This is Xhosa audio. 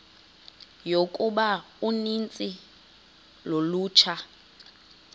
yokuba uninzi lolutsha